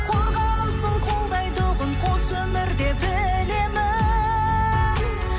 қорғанымсың қолдайтұғын қос өмірде білемін